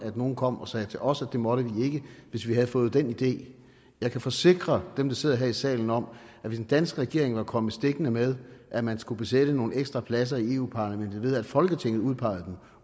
nogen kom og sagde til os at det måtte vi ikke hvis vi havde fået den idé jeg kan forsikre dem der sidder her i salen om at hvis en dansk regering var kommet stikkende med at man skulle besætte nogle ekstra pladser i europa parlamentet ved at folketinget udpegede dem